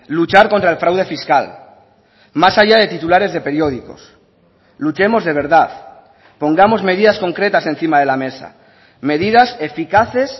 luchar contra el fraude fiscal más allá de titulares de periódicos luchemos de verdad pongamos medidas concretas encima de la mesa medidas eficaces